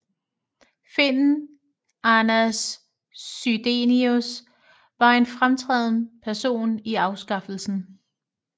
Finnen Anders Chydenius var en fremtrædende person i afskaffelsen